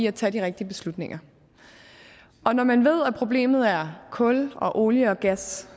at tage de rigtige beslutninger og når man ved at problemet er kul og olie og gas